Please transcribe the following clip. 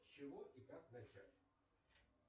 с чего и как начать